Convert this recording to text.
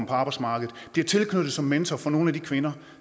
på arbejdsmarkedet bliver tilknyttet som mentor for nogle af de kvinder